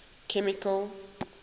chemical